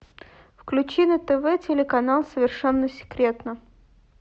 включи на тв телеканал совершенно секретно